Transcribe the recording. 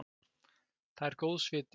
Það er góðs viti.